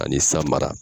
Ani san mara